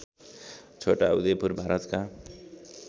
छोटा उदयपुर भारतका